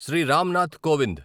Shri Ram Nath Kovind